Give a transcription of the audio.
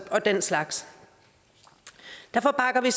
og den slags derfor bakker vi